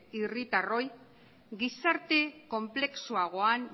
herritarroi gizarte konplexuagoan